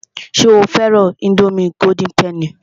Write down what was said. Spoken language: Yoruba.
Ṣé o fẹ́ran ińdómì golden penny?